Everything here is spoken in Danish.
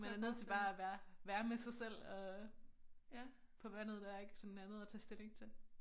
Man er nødt til bare at være være med sig selv og på vandet der ikke sådan andet at tage stilling til